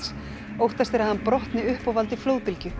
óttast er að hann brotni upp og valdi flóðbylgju